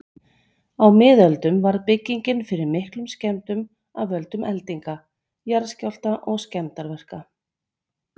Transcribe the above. Á miðöldum varð byggingin fyrir miklum skemmdum af völdum eldinga, jarðskjálfta og skemmdarverka.